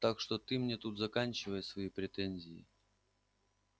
так что ты мне тут заканчивай свои претензии